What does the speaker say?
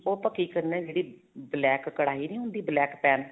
ਉਹ ਆਪਾਂ ਕੀ ਕਰਨਾ ਜਿਹੜੀ black ਕੜਾਹੀ ਨੀ ਹੁੰਦੀ black pan